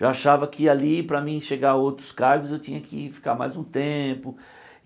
Já achava que ali, para mim chegar a outros cargos, eu tinha que ficar mais um tempo.